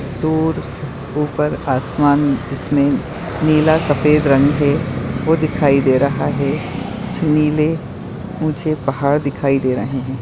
दूर उपर आसमान जिस मे नीला सफेद रंग है वो दिखाई दे रहा है कुछ नीले ऊँचे पहाड दिखाई दे रहे है।